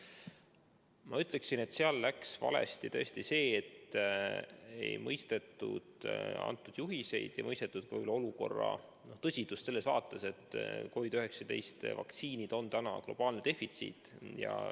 Ma ütleksin, et seal läks valesti tõesti see, et ei mõistetud antud juhiseid ja ei mõistetud võib-olla ka olukorra tõsidust selles mõttes, et COVID‑19 vaktsiinid on praegu globaalne defitsiit.